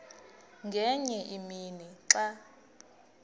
ngenye imini xa